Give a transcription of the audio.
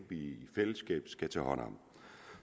i fællesskab skal tage hånd om